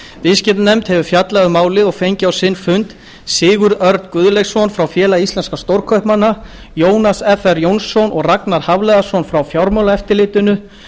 viðskiptanefnd hefur fjallað um málið og fengið á sinn fund sigurð örn guðleifsson frá félagi íslenskra stórkaupmanna jónas fr jónsson og ragnar hafliðason frá fjármálaeftirlitinu